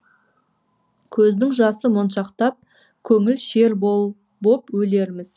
көздің жасы моншақтап көңіл шер боп өлерміз